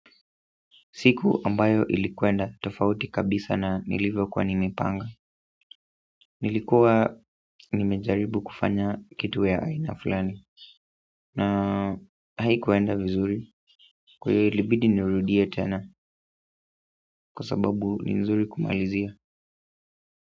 Siku ambayo ilienda tofauti kabisa na nilivyokuwa nimepanga nilikuwa nimejaribu kufanya kitu ya aina fulani na haikuenda vizuri kwa hiyo ilibidi nirudie tena kwa sababu ni vizuri kumalizia.